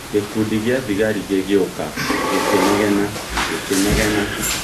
" Gĩkundi gĩa thigari gĩgĩũka, gĩkĩnegena, gĩkĩnegena.